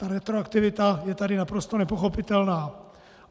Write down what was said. Ta retroaktivita je tady naprosto nepochopitelná.